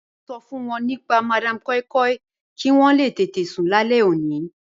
Mọ̀ n ṣọ fun wọn nípa Madam Koi Koi kí wọn lè tẹtẹ̀ sún làlẹ̀ ọ̀ní.